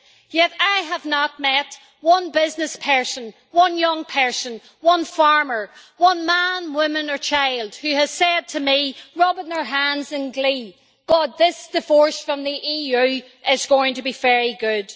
Yet I have not met one business person, one young person, one farmer, one man, woman or child who has said to me, rubbing their hands in glee, God, this divorce from the EU is going to be very good!'